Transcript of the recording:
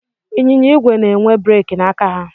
Ịnyịnya igwe na-enwe breeki n'aka ha.